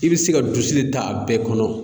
I bɛ se ka dusu de ta a bɛɛ kɔnɔ.